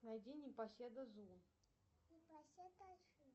найди непоседа зу